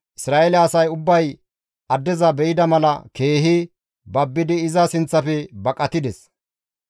Isra7eele asay ubbay addeza be7ida mala keehi babbidi iza sinththafe baqatides.